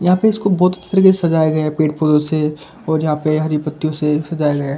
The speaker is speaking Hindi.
यहां पे इसको बोत अच्छी तरीके से सजाया गया है पेड़-पौधों से और यहां पे हरी पत्तियों से सजाया गया है।